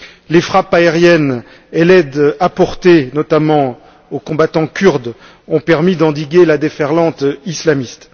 Les frappes aériennes et l'aide apportée, notamment aux combattants kurdes, ont permis d'endiguer la déferlante islamiste.